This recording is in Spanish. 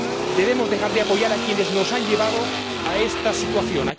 Debemos dejar de apoyar a quienes nos han llevado a esta situación